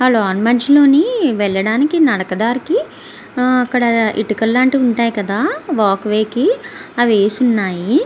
వెళ్ళడానికి నడుకదారికి అక్కడ ఇటుక లాంటివి ఉంటై కదా వాక్ వే కి అవి వేసి ఉన్నాయి.